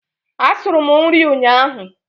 Asuru m nri ụnyaahụ.